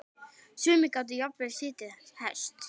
Sumir gátu jafnvel setið hest.